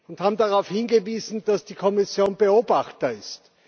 Sie haben darauf hingewiesen, dass die Kommission Beobachter ist.